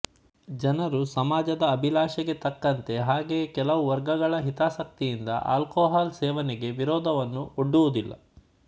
ಜನರು ಸಮಾಜದ ಅಭಿಲಾಶಗೆ ತಕ್ಕಂತೆ ಹಾಗೆಯೆ ಕೆಲವು ವರ್ಗಗಳ ಹಿತಾಸಕ್ತಿಯಿಂದ ಆಲ್ಕೊಹಾಲ್ ಸೇವನೆಗೆ ವಿರೊಧವನ್ನು ಒಡ್ಡುವುದಿಲ್ಲ